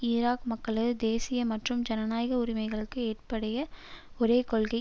Iraq மக்களது தேசிய மற்றும் ஜனநாயக உரிமைகளுக்கு ஏற்புடைய ஒரே கொள்கை